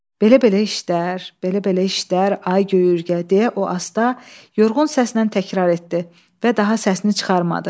Belə-belə işlər, belə-belə işlər, ay göy Ürgə, deyə o asta, yorğun səslə təkrar etdi və daha səsini çıxarmadı.